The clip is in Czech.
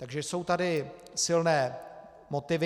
Takže jsou tady silné motivy.